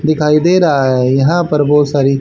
दिखाई दे रहा है। यहां पर बहोत सारी--